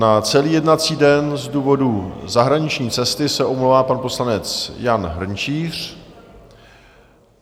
Na celý jednací den z důvodu zahraniční cesty se omlouvá pan poslanec Jan Hrnčíř.